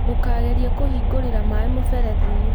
Ndũkageria kũhingũrĩra maĩ mũberethi-inĩ.